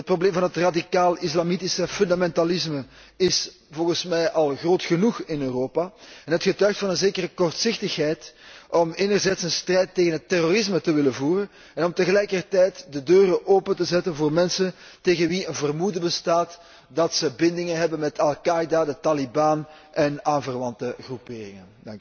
Het probleem van het radicaal islamitische fundamentalisme is volgens mij al groot genoeg in Europa en het getuigt van een zekere kortzichtigheid om een strijd tegen het terrorisme te willen voeren en tegelijkertijd de deuren open te zetten voor mensen tegen wie een vermoeden bestaat dat zij bindingen hebben met al Qaida, de taliban en aanverwante groeperingen.